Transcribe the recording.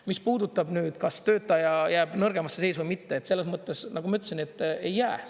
Mis puudutab seda, kas töötaja jääb nõrgemasse seisu või mitte, siis nagu ma ütlesin: ei jää.